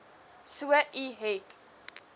so u het